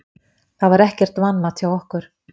Það var ekkert vanmat hjá okkur